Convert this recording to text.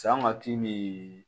Sa ma ki mi